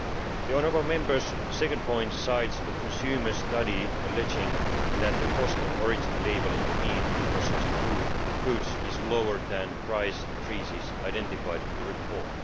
The honourable Member's second point cites a consumer study alleging that the cost of origin labelling of meat in processed foods is lower than price increases identified in the report.